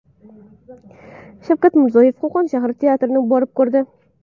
Shavkat Mirziyoyev Qo‘qon shahar teatrini borib ko‘rdi.